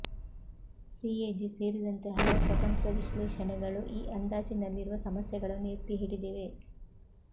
CAG ಸೇರಿದಂತೆ ಹಲವು ಸ್ವತಂತ್ರ ವಿಶ್ಲೇಷಣೆಗಳು ಈ ಅಂದಾಜಿನಲ್ಲಿರುವ ಸಮಸ್ಯೆಗಳನ್ನು ಎತ್ತಿಹಿಡಿದಿವೆ